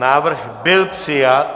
Návrh byl přijat.